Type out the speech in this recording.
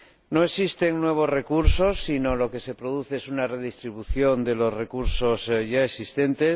No existen nuevos recursos, sino que lo que se produce es una redistribución de los recursos ya existentes.